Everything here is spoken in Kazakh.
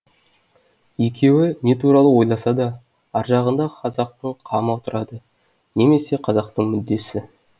екеуі не туралы ойласа да аржағында қазақтың қамы тұрады немесе қазақтың мүддесі